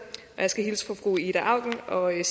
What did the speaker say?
og jeg